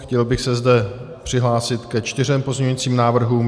Chtěl bych se zde přihlásit ke čtyřem pozměňujícím návrhům.